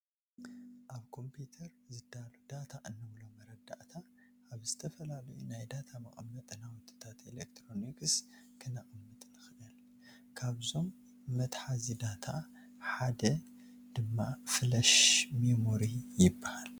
ኣብ ኮምፒዩተር ዝዳሎ ዳታ እንብሎ መረዳታ ኣብ ዝተፈላለዩ ናይ ዳታ መቐመጢ ናውትታት ኤለክትሮኒክ ክነቕምጥ ንኽእል፡፡ ካብዞ መትሓዚ ዳታ ሃደ ድማ ፍለሽ ሚሞሪ ይበሃል፡፡